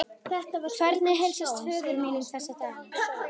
Hvernig heilsast föður mínum þessa dagana?